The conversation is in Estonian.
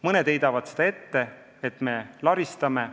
Mõned heidavad seda ette, väites, et me laristame.